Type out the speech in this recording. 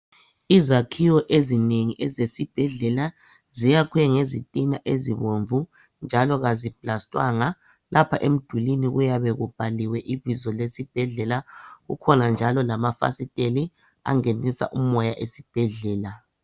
Izakhiwo ezinengi ezesibhedlela ziyakhwe ngezitina ezibomvu njalo kaziplastwanga lapha emdulwini kuyabe kubhaliwe ibizo lesibhedlela kukhona njalo lamafasiteli angenisa umoya esibhedlela.